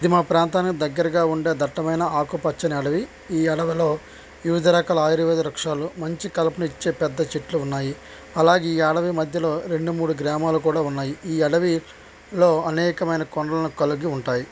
ఇది మా ప్రాంతానికి దగ్గరగా ఉండే దట్టమైన ఆకుపచ్చని అడవి ఈ అడవిలో వివిధ రకాల ఆయుర్వేద వృక్షాలు మంచి కలుపునిచ్చే పెద్ద చెట్లు ఉన్నాయి. అలాగే ఈ అడవి మధ్యలో రెండు మూడు గ్రామాలు కూడా ఉన్నాయి. ఈ అడవి లో అనేకమైన కొండలని కలిగి ఉంటాయి.